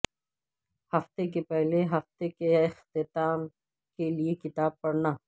ہفتہ کے پہلے ہفتے کے اختتام کے لئے کتاب پڑھنا